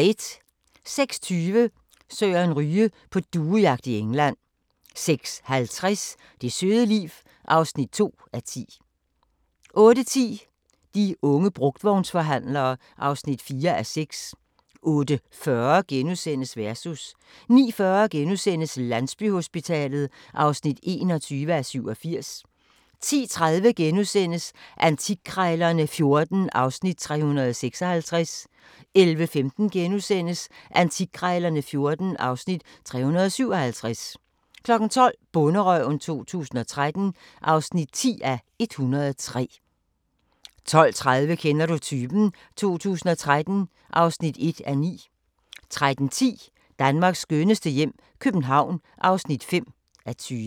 06:20: Søren Ryge: På duejagt i England 06:50: Det søde liv (2:10) 08:10: De unge brugtvognsforhandlere (4:6) 08:40: Versus * 09:40: Landsbyhospitalet (21:87)* 10:30: Antikkrejlerne XIV (Afs. 356)* 11:15: Antikkrejlerne XIV (Afs. 357)* 12:00: Bonderøven 2013 (10:103) 12:30: Kender du typen? 2013 (1:9) 13:10: Danmarks skønneste hjem - København (5:20)